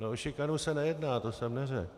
No o šikanu se nejedná, to jsem neřekl.